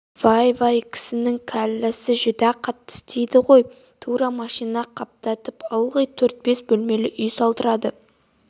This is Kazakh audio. вай-вай кісінің кәлләсі жүдә қатты істейд ғой тура машина қаптатып ылғи төрт-бес бөлмелі үй салдырды